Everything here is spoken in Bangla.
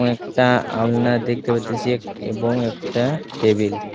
এবং একটা আলনা দেখতে পাইতেছে এবং একটা টেবিল .